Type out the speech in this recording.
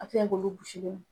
A bɛ se ka kɛ olu gosilen don .